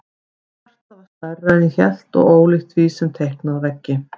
Því hjartað var stærra en ég hélt og ólíkt því sem er teiknað á veggi.